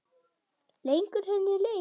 Leggur henni lið.